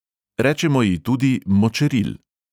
Rečemo ji tudi močeril.